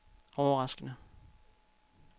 overraskende